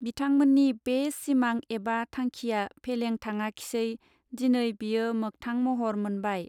बिथांमोननि बे सिमां एबा थांखिया फेलें थाङाखिसै दिनै बेयो मोगथां महर मोनबाय.